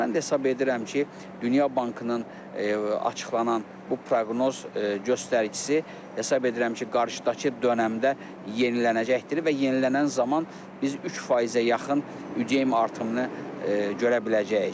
Mən də hesab edirəm ki, Dünya Bankının açıqlanan bu proqnoz göstəricisi hesab edirəm ki, qarşıdakı dönəmdə yenilənəcəkdir və yenilənən zaman biz 3%-ə yaxın ÜDM artımını görə biləcəyik.